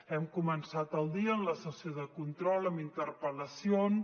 hem començat el dia en la sessió de control amb interpel·lacions